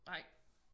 Nej